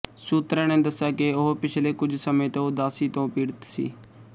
ਸੂਤਰਾਂ ਨੇ ਦੱਸਿਆ ਕਿ ਉਹ ਪਿਛਲੇ ਕੁਝ ਸਮੇਂ ਤੋਂ ਉਦਾਸੀ ਤੋਂ ਪੀੜਤ ਸੀ